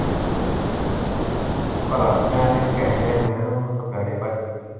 ਪਤਾ ਨੀ ਮੈਂ ਤੇ ਓਹਨੂ ਕਹਿਣ ਡਿਆ ਸੀ ਮੈਂ ਕਿਹਾ ਸੱਦਣ ਡਏ ਭਾਜੀ